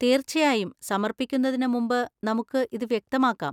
തീർച്ചയായും, സമർപ്പിക്കുന്നതിന് മുമ്പ് നമുക്ക് ഇത് വ്യക്തമാക്കാം.